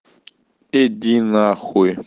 иди нахуй